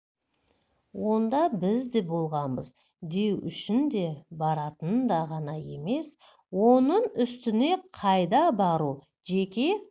онда біз де болғанбыз деу үшін де баратынында ғана емес оның үстіне қайда бару жеке